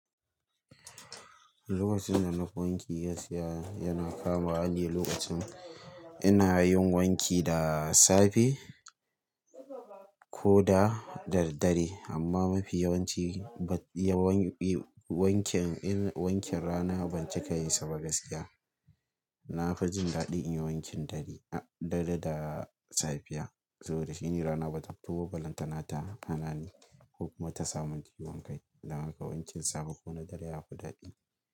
Lokacin da nafi wanki gaskiya yana kamawa ne lokacin ina yin wanki da safe ko da daddare amma mafi yawanci wankin rana ban cika yin saba gaskiya. Nafi jin daɗi in yi wankin dare da safiya saboda shine rana ba ta fito balantana ta hana ni ko kuma ta sa mun ciwon kai. Dan haka wankin safe ko na dare yafi daɗi.